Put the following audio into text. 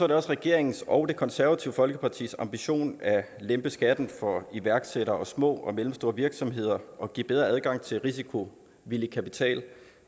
det også regeringens og det konservative folkepartis ambition at lempe skatten for iværksættere og små og mellemstore virksomheder og give bedre adgang til risikovillig kapital